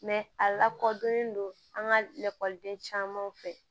a lakodɔnnen don an ka lakɔliden caman fɛ